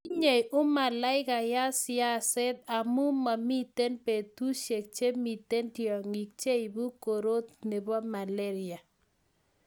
tinyei umalaikayat siaset amu mamiten betushiek chemiten tyongik cheibu korot nebo malaria